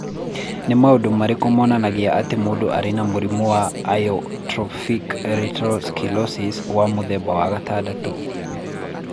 Nĩ maũndũ marĩkũ monanagia atĩ mũndũ arĩ na mũrimũ wa Amyotrophic lateral sclerosis wa mũthemba wa gatandatũ?